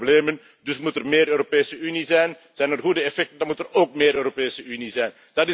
Er zijn problemen dus moet er meer Europese Unie zijn, zijn er goede effecten, dan moet er ook meer Europese Unie zijn.